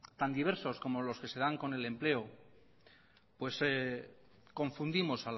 tan diversos como los que se dan con el empleo pues confundimos